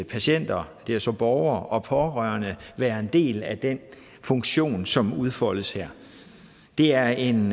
patienter det er så borgere og pårørende være en del af den funktion som udfoldes her det er en